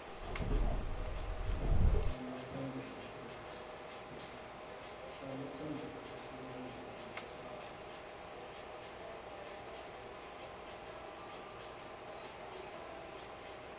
salotsembele efomini lekufaka